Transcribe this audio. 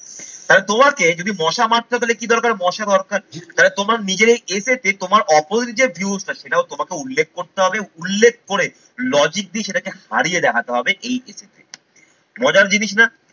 তাহলে তোমাকে যদি মশা মাত্রা তাহলে কি দরকার মশা দরকার তাহলে তোমরা নিজেরাই essay তে তোমার opposite যে views টা সেটাও তোমাকে উল্লেখ করতে হবে, উল্লেখ করে logic দিয়ে সেটাকে হারিয়ে দেখাতে হবে এই essay তে। মজার জিনিস না?